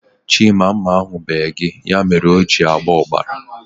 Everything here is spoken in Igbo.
Chima, mma ahu bee gị. Ya mere o ji na-agba ọbara